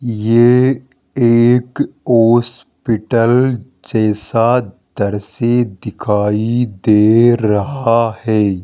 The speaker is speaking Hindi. ये एक हॉस्पिटल जैसा दृश्य दिखाई दे रहा है।